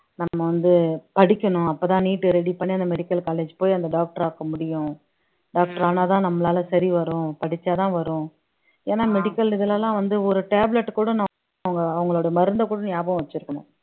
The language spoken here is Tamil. நம்ம வந்து படிக்கணும் அப்பதான் NEETready பண்ணி அந்த medical college போய் அந்த doctor ஆக்க முடியும் doctor ஆனாதான் நம்மளால சரி வரும் படிச்சாதான் வரும் ஏன்னா medical இதுல எல்லாம் வந்து ஒரு tablet கூட அவங்க அவங்களோட மருந்தைக் கூட ஞாபகம் வச்சிருக்கணும்